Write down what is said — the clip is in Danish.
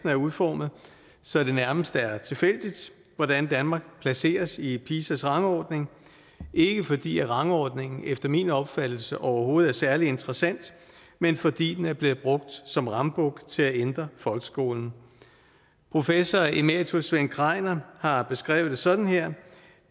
er udformet så det nærmest er tilfældigt hvordan danmark placeres i pisas rangordning ikke fordi rangordningen efter min opfattelse overhovedet er særlig interessant men fordi den er blevet brugt som rambuk til at ændre folkeskolen professor emeritus svend kreiner har beskrevet det sådan her